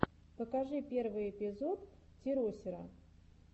покажи первый эпизод теросера